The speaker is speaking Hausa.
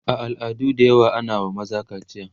a al'adu da yawa ana wa maza kaciya